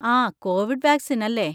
ആ, covid vaccine, അല്ലേ?